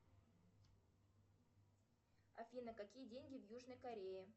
афина какие деньги в южной корее